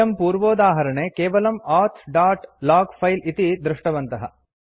वयं पूर्वोदाहरणे केवलं औथ दोत् लोग फिले इति दृष्टवन्तः